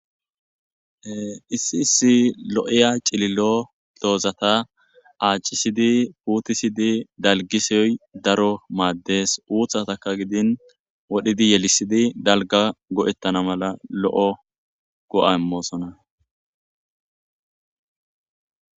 Issi issi lo7eya cililo toozata aacisidi puutisidi dalgisiyoy daro maaddes uuthataka gidin wodhidi yelisidi dalga go7ettana mala lo7o go7amoosona.